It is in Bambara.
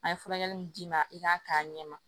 A ye furakɛli min d'i ma i k'a k'a ɲɛma